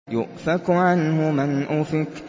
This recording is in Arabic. يُؤْفَكُ عَنْهُ مَنْ أُفِكَ